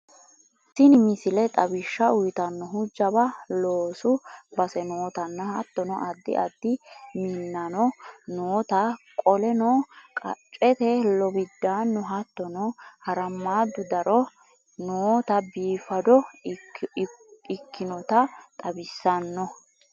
Tinni missile tawishaa uuyitanhuu jaawa loosu baase nootanna hattono addi addi miinanno noota kooleno kaachette loowidannu hattono haaramadu daaro noota biifadho ekkonota xawisanno